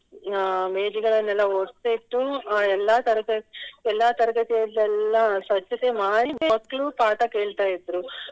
ಅಹ್ ಮೇಜುಗಳನ್ನೆಲ್ಲಾ ಒರ್ಸಿ ಇಟ್ಟು ಎಲ್ಲ ತರಗ~ ಎಲ್ಲ ತರಗತಿಯದೆಲ್ಲ ಸ್ವಚ್ಛತೆ ಮಾಡಿ ಮಕ್ಳು ಪಾಠ ಕೇಳ್ತಾ ಇದ್ರೂ